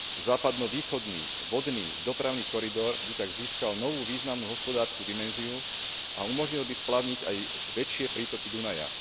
Západno východný vodný dopravný koridor by tak získal novú významnú hospodársku dimenziu a umožnil by splavniť aj väčšie prítoky Dunaja.